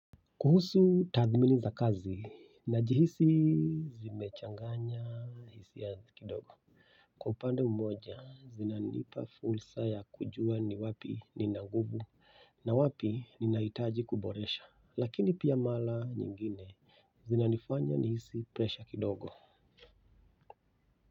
Kuhusu tadhmini za kazi najihisi zimechanganya hisia kidogo kwa upande mmoja zinanipa fursa ya kujua ni wapi nina nguvu na wapi ninahitaji kuboresha lakini pia mara nyingine zinanifanya nihisi presha kidogo.